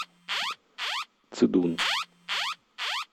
цидун